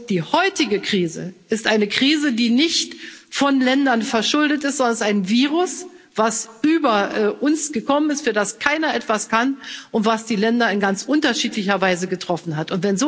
Die heutige Krise ist eine Krise, die nicht von Ländern verschuldet ist, sondern es ist ein Virus, das über uns gekommen ist, für das keiner etwas kann und das die Länder in ganz unterschiedlicher Weise getroffen hat.